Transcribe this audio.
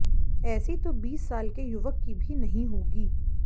ऐसी तो बीस साल के युवक की भी नहीं होगी